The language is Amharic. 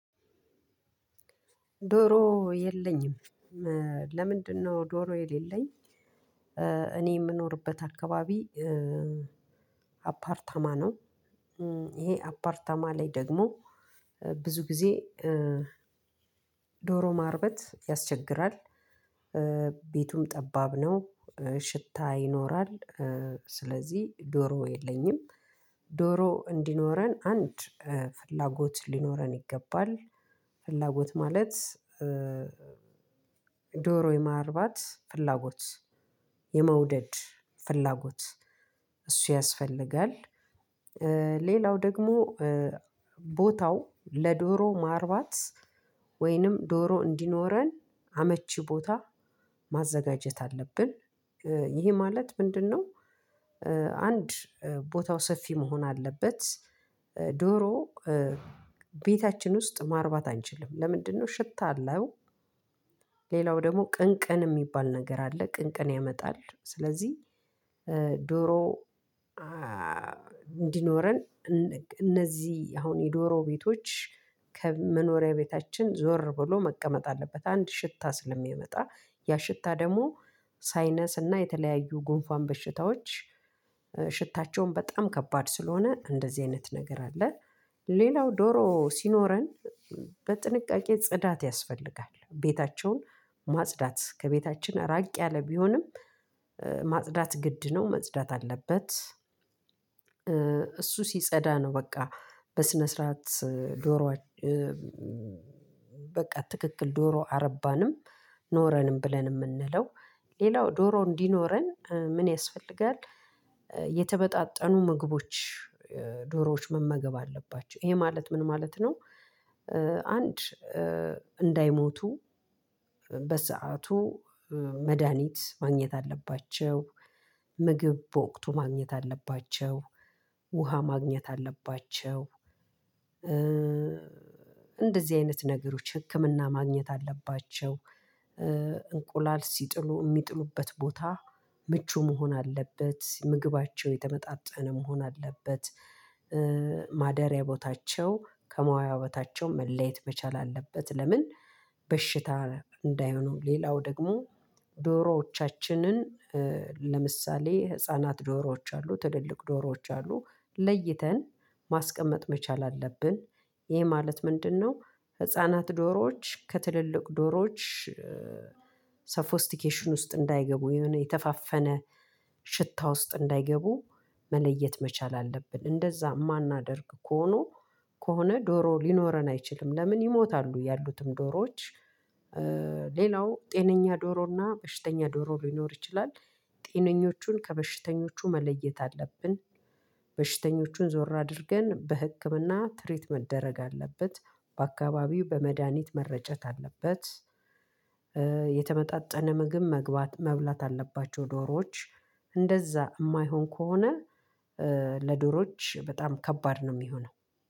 ዶሮ የለኝም ለምንድነው? ዶሮ የሌለኝ እኔ የምኖርበት አካባቢ አፓርታማ ነው። ይሄ አፓርታማ ላይ ደግሞ ብዙ ጊዜ ዶሮ ማርባት ያስቸግራል። ቤቱም ጠባብ ነው። ሽታ ይኖራል ስለዚ ዶሮ የለኝም። ዶሮ እንዲኖረን አንድ ፍላጎት ሊኖረን ይገባል። ፍላጎት ማለት ዶሮ የማርባት ፍላጎት የመውደድ ፍላጎት እሱ ያስፈልጋል። ሌላው ደሞ ቦታው ለዶሮ ማርባት ወይንም ዶሮ እንዲኖረን አመቺ ቦታ ማዘጋጀት አለብን። ይሄ ማለት ምንድነው? አንድ ቦታው ሰፊ መሆን አለበት። ዶሮ ቤታችን ውስጥ ማርባት አንችልም። ለምንድነው? ሽታ አለው። ሌላው ደግሞ ቅንቅን የሚባል ነገር አለ ቅንቅን ያመጣል ስለዚህ። ዶሮ እንዲኖረን እነዚህ አሁን የዶሮ ቤቶች ከመኖሪያ ቤታችን ዞር ብሎ መቀመጥ አለበት። አንድ ሽታ ስለሚመጣ ያ ሽታ ደግሞ ሳይነስና የተለያዩ ጉንፏን በሽታዎች ሽታቸውም በጣም ከባድ ስለሆነ እንደዚህ አይነት ነገር አለ። ሌላው ዶሮ ሲኖረን በጥንቃቄ ጽዳት ያስፈልጋል ቤታቸውን ማጽዳት ከቤታችን ራቅ ያለ ቢሆንም። ማጽዳት ግድ ነው መጽዳት አለበት። እሱ ሲጸዳ ነው በቃ በስነ ስርዓት ዶሮ በቃ ትክክል ዶሮ አረባንም ኖረንም ብለን የምንለው ሌላው ዶሮ እንዲኖረን ምን ያስፈልጋል? የተመጣጠኑ ምግቦች ዶሮዎች መመገብ አለባቸው። ይሄ ማለት ምን ማለት ነው? አንድ እንዳይሞቱ በሰአቱ መድሃኒት ማግኘት አለባቸው። ምግብ በወቅቱ ማግኘት አለባቸው። ውሃ ማግኘት አለባቸው። እንደዚህ አይነት ነገሮች ህክምና ማግኘት አለባቸው። እንቁላል ሲጥሉ የሚጥሉበት ቦታ ምቹ መሆን አለበት ምግባቸው የተመጣጠነ መሆን አለበት። ማደሪያ ቦታቸው ከማዋያ ቦታቸው መለየት መቻል አለበት። ለምን? በሽታ እንዳይሆነው ሌላው ደግሞ ዶሮዎቻችንን ለምሳሌ ህፃናት ዶሮዎች አሉ ትልልቅ ዶሮዎች አሉ ለይተን ማስቀመጥ መቻል አለብን። ይሄ ማለት ምንድነው? ህፃናት ዶሮዎች ከትልልቅ ዶሮዎች ሳፎስቲኬሽን ውስጥ እንዳይገቡ የሆነ የተፋፈነ ሽታ ውስጥ እንዳይገቡ መለየት መቻል አለብን። እንደዛ የማናደርግ ከሆኑ ከሆነ ዶሮ ሊኖረን አይችልም ለምን ይሞታሉ ያሉትም ዶሮዎች። ሌላው ጤነኛ ዶሮና በሽተኛ ዶሮ ሊኖር ይችላል። ጤነኞቹን ከበሽተኞቹ መለየት አለብን። በሽተኞቹን ዞር አድርገን በህክምና ትሪት መደረግ አለበት። በአካባቢው በመድሃኒት መረጨት አለበት። የተመጣጠነ ምግብ መግባት መብላት አለባቸው ዶሮዎች እንደዛ የማይሆን ከሆነ ለዶሮዎች በጣም ከባድ ነው የሚሆነው።